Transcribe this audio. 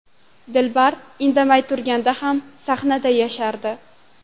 Dilbar indamay turganda ham sahnada yashardi.